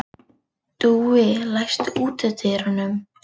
Dúi, læstu útidyrunum.